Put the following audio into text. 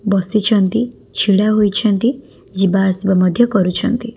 ବସିଛନ୍ତି ଛିଡ଼ା ହୋଇଛନ୍ତି ଯିବାଆସିବା ମଧ୍ୟ ବି କରୁଛନ୍ତି।